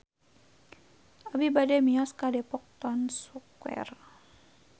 Abi bade mios ka Depok Town Square